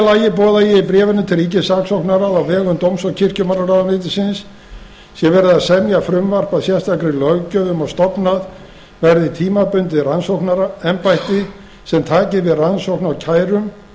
lagi boða ég í bréfinu til ríkissaksóknara að á vegum dóms og kirkjumálaráðuneytisins sé verið að semja frumvarp að sérstakri löggjöf um að stofnað verði tímabundið rannsóknarembætti sem taki við rannsókn á kærum